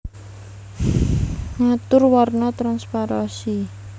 Ngatur warna transparansi